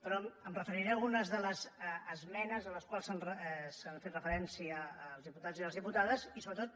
però em referiré a algunes de les esmenes a les quals han fet referència els diputats i les diputades i sobretot